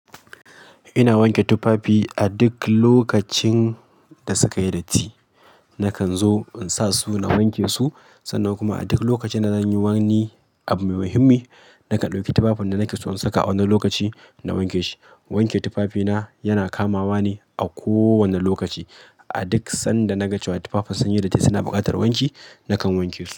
Ina wanke tufafi a duk lokacin da suka yi datti. Nakan zo in sa su na wanke su, sannan kuma a duk lokacin da zan yi wani abu mai muhimmi, nakan ɗauki tufafin da nake so in saka a wannan lokaci na wanke shi. Wanke tufafina yana kamawa ne a kowane lokaci. A duk sanda na ga cewa tufafin sun yi datti suna buƙatar wanki, nakan wanke su.